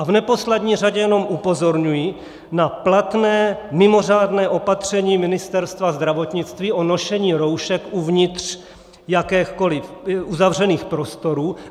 A v neposlední řadě jenom upozorňuji na platné mimořádné opatření Ministerstva zdravotnictví o nošení roušek uvnitř jakýchkoli uzavřených prostorů.